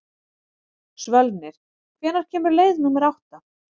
Svölnir, hvenær kemur leið númer átta?